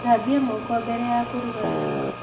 Thambia moko mbere ya kũruga irio.